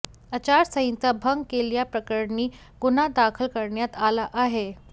आचारसंहिता भंग केल्याप्रकरणी गुन्हा दाखल कऱण्यात आला आहे